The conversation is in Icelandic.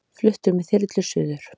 Fluttur með þyrlu suður